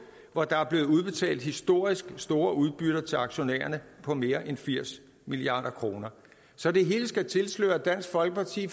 hvor der er blevet udbetalt historisk store udbytter til aktionærerne på mere end firs milliard kroner så det hele skal tilsløre at dansk folkeparti